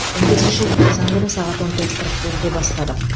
он бесінші желтоқсан күні сағат он төрт қырық бірде бастадық